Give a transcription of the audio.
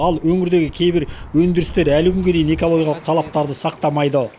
ал өңірдегі кейбір өндірістер әлі күнге дейін экологиялық талаптарды сақтамайды